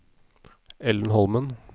Ellen Holmen